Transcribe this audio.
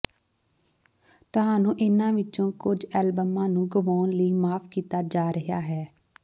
ਤੁਹਾਨੂੰ ਇਹਨਾਂ ਵਿੱਚੋਂ ਕੁਝ ਐਲਬਮਾਂ ਨੂੰ ਗੁਆਉਣ ਲਈ ਮਾਫ ਕੀਤਾ ਜਾ ਰਿਹਾ ਹੈ